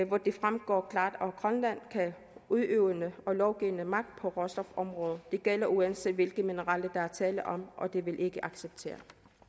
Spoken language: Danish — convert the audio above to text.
hvoraf det fremgår klart at grønland har udøvende og lovgivende magt på råstofområdet det gælder uanset hvilke mineraler der er tale om og det vil vi ikke acceptere